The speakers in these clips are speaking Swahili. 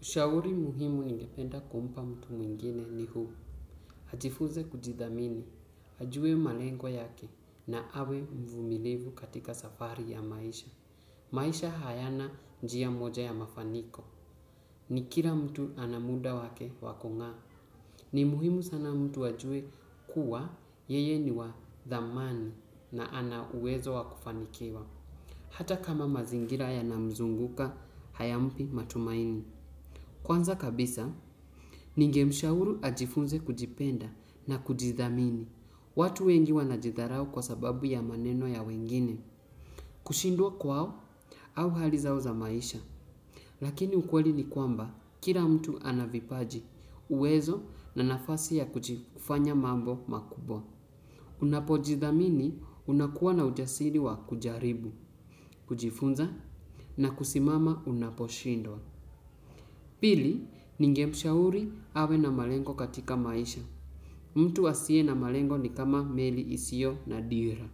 Ushauri muhimu ningependa kumpa mtu mwingine ni huu. Ajifunze kujidhamini, ajue malengo yake na awe mvumilivu katika safari ya maisha. Maisha hayana njia moja ya mafaniko. Ni kila mtu ana muda wake wa kung'aa. Ni muhimu sana mtu ajue kuwa yeye ni wa thamani na ana uwezo wa kufanikiwa. Hata kama mazingira yanamzunguka hayampi matumaini. Kwanza kabisa, ningemshauru ajifunze kujipenda na kujithamini, watu wengi wanajidharau kwa sababu ya maneno ya wengine, kushindwa kwao au hali zao za maisha. Lakini ukweli ni kwamba kila mtu ana vipaji, uwezo na nafasi ya kujifanya mambo makubwa. Unapojithamini unakuwa na ujasiri wa kujaribu, kujifunza na kusimama unaposhindwa. Pili, ningemshauri awe na malengo katika maisha. Mtu asiye na malengo ni kama meli isiyo na dira.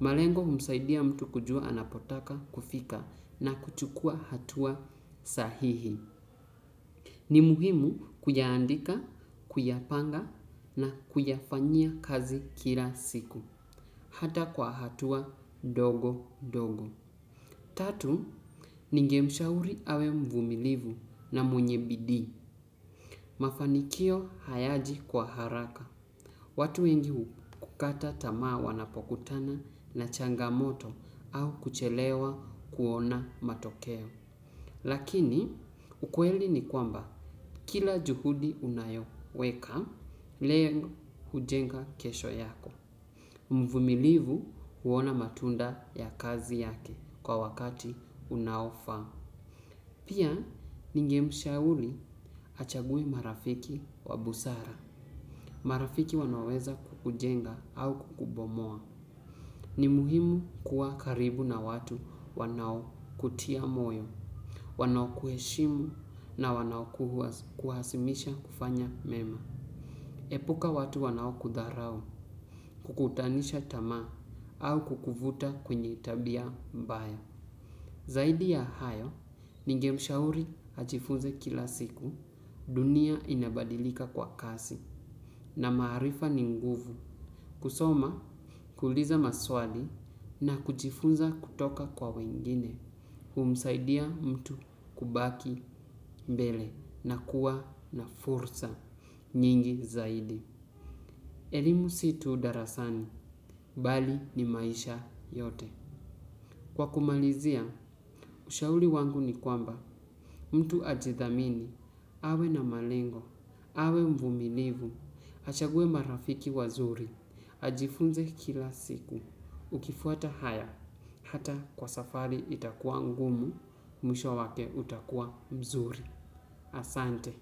Malengo humsaidia mtu kujua anapotaka kufika na kuchukua hatua sahihi. Ni muhimu kuyaandika, kuyapanga na kuyafanyia kazi kila siku. Hata kwa hatua ndogo ndogo. Tatu, ningemshauri awe mvumilivu na mwenye bidii. Mafanikio hayaji kwa haraka. Watu wengi huu kukata tamaa wanapokutana na changamoto au kuchelewa kuona matokeo. Lakini ukweli ni kwamba kila juhudi unayoweka, leo hujenga kesho yako. Mvumilivu huona matunda ya kazi yake kwa wakati unaofaa. Pia, ningemshauri achague marafiki wa busara. Marafiki wanaweza kukujenga au kukubomoa. Ni muhimu kuwa karibu na watu wanaokutia moyo. Wanao kuheshimu na wanao kuhasimisha kufanya mema. Epuka watu wanaokudharau, kukutanisha tamaa au kukuvuta kwenye tabia mbaya. Zaidi ya hayo, ningemshauri ajifunze kila siku dunia inabadilika kwa kasi na maarifa ni nguvu. Kusoma, kuuliza maswali na kujifunza kutoka kwa wengine, humsaidia mtu kubaki mbele na kuwa na fursa nyingi zaidi. Elimu si tu darasani, bali ni maisha yote. Kwa kumalizia, ushauri wangu ni kwamba, mtu ajithamini, awe na malengo, awe mvumilivu, achague marafiki wazuri, ajifunze kila siku, ukifuata haya, hata kwa safari itakuwa ngumu, mwisho wake utakuwa mzuri. Asante.